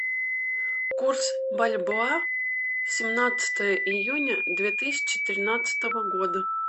курс бальбоа семнадцатое июня две тысячи тринадцатого года